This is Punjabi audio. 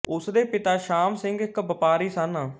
ਉਸ ਦੇ ਪਿਤਾ ਸ਼ਾਮ ਸਿੰਘ ਇੱਕ ਵਪਾਰੀ ਸਨ